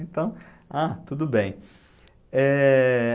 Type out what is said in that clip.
Então, ah, tudo bem. Eh...